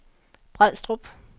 Brædstrup